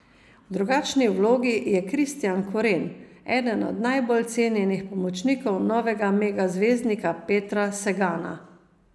V drugačni vlogi je Kristijan Koren, eden najbolj cenjenih pomočnikov novega mega zvezdnika Petra Sagana.